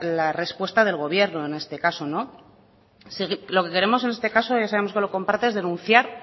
la respuesta del gobierno en este caso lo que queremos en este caso ya sabemos que lo comparte es denunciar